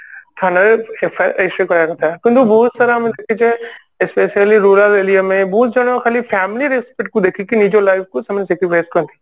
ଥାନାରେ FIR register କରିବା କଥା କିନ୍ତୁ ବହୁତ ସାରା ଆମେ ଦେଖିଚେ specially rural aria ରେ ବହୁତ ଜଣ ଖାଲି family respect କୁ ଦେଖିକି ନିଜ life କୁ ସେମାନେ sacrifice କରନ୍ତି